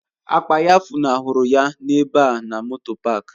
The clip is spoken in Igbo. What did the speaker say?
Akpa ya funahụrụ ya n'ebe a na moto paak.